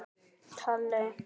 Þín systir, Linda Ósk.